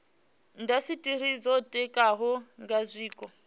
indasiteri dzo ditikaho nga zwiko